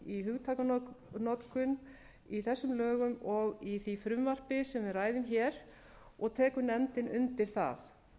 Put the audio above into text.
í hugtakanotkun í þessum lögum og í því frumvarpi sem við ræðum a og tekur nefndin undir það